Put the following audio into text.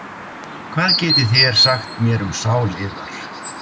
Hvað getið þér sagt mér um sál yðar?